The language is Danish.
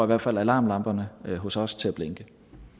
hvert fald alarmklokkerne hos os til